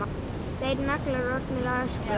Tveir naglar orðnir að ösku.